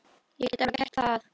Ég get alveg gert það.